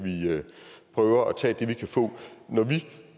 prøver at tage det vi kan få når vi